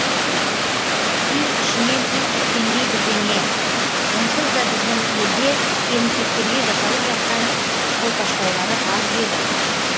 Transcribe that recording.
үй ішінен үй тіккендей бірдеңе онсыз да біздің елде келімсектерге жасалып жатқан қолпаштаулары аз ба еді